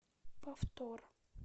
повтор